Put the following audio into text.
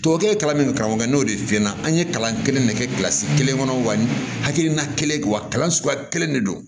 Tuwawu kelen kalannen kan n'o de f'i ɲɛna an ye kalan kelen ne kɛ kelen kɔnɔ wa hakilina kelen wa kalan suguya kelen de don